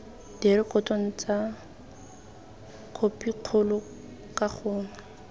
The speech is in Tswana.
direkotong tsa khopikgolo ka gangwe